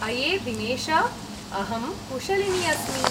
अये दिनेश! अहं कुशलिनी अस्मि।